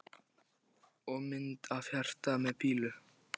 Og mynd af hjarta með pílu í.